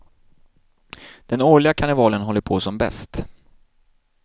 Den årliga karnevalen håller på som bäst.